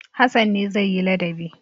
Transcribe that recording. Hassan ne zai yi ladabi.